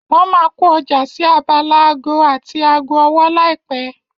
Wọ́n máa kó ọjà sí abala aago àti aago ọwọ́ láìpẹ́.